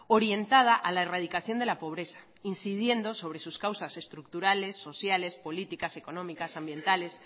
orientada a la erradicación de la pobreza e incidiendo sobre sus causas estructurales sociales políticas económicas ambientales